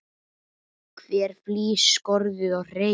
Hver flís skorðuð og hrein.